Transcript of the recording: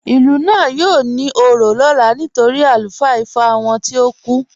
Ilú náà yóò ní ò̩rọ̀ lọlá nítorí alufaa Ìfá wọn tìí o kú.